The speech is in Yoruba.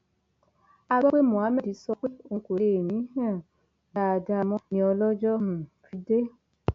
a gbọ pé mohammed sọ pé òun kò lè mí um dáadáa mọ ni ọlọjọ um fi dé